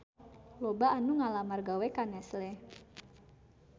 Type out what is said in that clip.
Loba anu ngalamar gawe ka Nestle